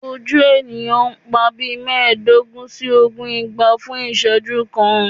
Oju eniyan n pa bii meedogun si ogun igba fun iseju kan